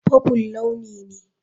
Purple launi ne.